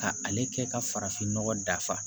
Ka ale kɛ ka farafinnɔgɔ dafa